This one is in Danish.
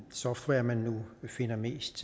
software man finder mest